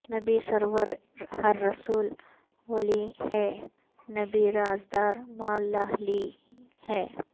نبی سرور ہر رسول و ولی ہے نبی راز دار مع اللہ لی ہے